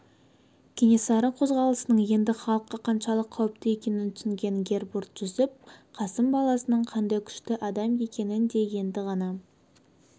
кенесары қозғалысының енді халыққа қаншалық қауіпті екенін түсінген гербурт-жүсіп қасым баласының қандай күшті адам екенін де енді ғана